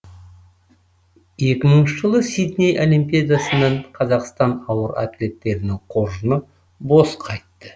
екі мың жылы сидней олимпиадасынан қазақстан ауыр атлеттерінің қоржыны бос қайтты